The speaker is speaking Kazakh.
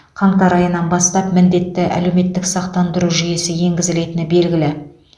қаңтар айынан бастап міндетті әлеуметтік сақтандыру жүйесі енгізілетіні белгілі